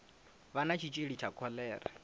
vha na tshitshili tsha kholera